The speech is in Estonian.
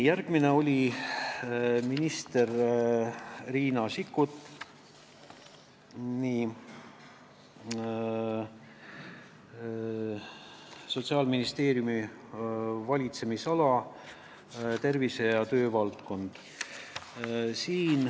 Järgmine oli minister Riina Sikkut, Sotsiaalministeeriumi valitsemisala ning tervise- ja töövaldkond.